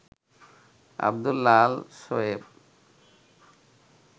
Abdullah Al Shoaib